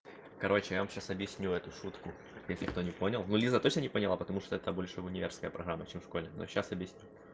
короче я вам сейчас объясню эту шутку если кто не понял ну лиза точно не поняла потому что это больше универская программа чем в школе но сейчас объясню